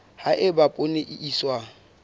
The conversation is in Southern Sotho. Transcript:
ha eba poone e iswa